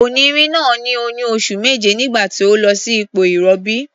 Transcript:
Onìnrin náà ní oyún oṣù méje nígbà tó lọ sí ipò ìrọbí.